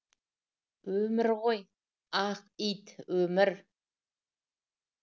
өмір ғой ақ ит өмір